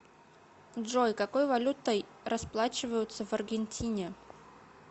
джой какой валютой расплачиваются в аргентине